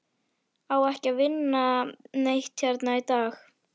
Á ekki að vinna neitt hérna í dag?